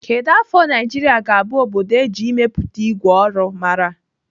Kedụ afọ Naijiria ga-abụ obodo eji ịmepụta ìgwè ọrụ mara?